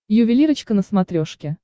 ювелирочка на смотрешке